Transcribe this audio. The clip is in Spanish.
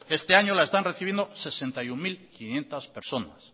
este año la están recibiendo sesenta y uno mil quinientos personas